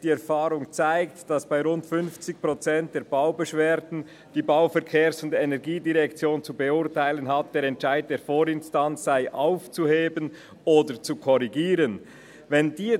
«Die Erfahrung zeigt aber auch, dass bei rund 50 Prozent der Baubeschwerden, die die Bau-, Verkehrs- und Energiedirektion zu beurteilen hat, der Entscheid der Vorinstanz aufgehoben oder korrigiert wird.